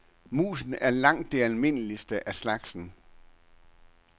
Musen er langt det almindeligste af slagsen.